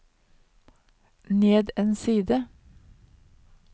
ned en side